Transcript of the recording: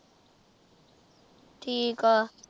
ਠੀਕ ਆ